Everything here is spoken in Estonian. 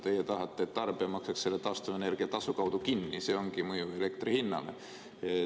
Teie tahate, et tarbija maksaks selle taastuvenergia tasu kaudu kinni, see ongi see mõju elektri hinnale.